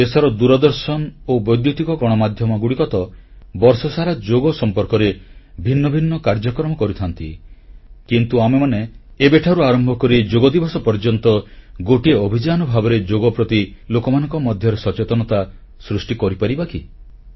ଦେଶର ଦୂରଦର୍ଶନ ଓ ବୈଦ୍ୟୁତିକ ଗଣମାଧ୍ୟମଗୁଡ଼ିକ ତ ବର୍ଷସାରା ଯୋଗ ସମ୍ପର୍କରେ ଭିନ୍ନ ଭିନ୍ନ କାର୍ଯ୍ୟକ୍ରମ କରିଥାନ୍ତି କିନ୍ତୁ ଆମେମାନେ ଏବେଠାରୁ ଆରମ୍ଭ କରି ଯୋଗଦିବସ ପର୍ଯ୍ୟନ୍ତ ଗୋଟିଏ ଅଭିଯାନ ଭାବରେ ଯୋଗ ପ୍ରତି ଲୋକମାନଙ୍କ ମଧ୍ୟରେ ସଚେତନତା ସୃଷ୍ଟି କରିପାରିବା କି